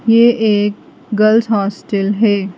यह एक girls hostel है।